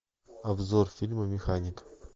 обзор фильма механик